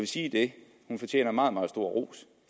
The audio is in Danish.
sige at hun fortjener meget meget stor ros